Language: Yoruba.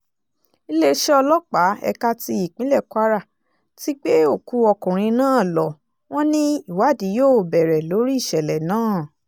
iléeṣẹ́ ọlọ́pàá ẹ̀ka ti ìpínlẹ̀ kwara ti gbé òkú ọkùnrin náà lọ̀ wọ́n ní ìwádìí yóò bẹ̀rẹ̀ lórí ìṣẹ̀lẹ̀ náà